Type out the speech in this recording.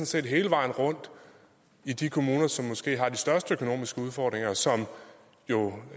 set hele vejen rundt i de kommuner som måske har de største økonomiske udfordringer og som jo